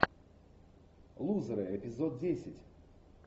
лузеры эпизод десять